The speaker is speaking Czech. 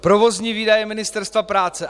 Provozní výdaje Ministerstva práce.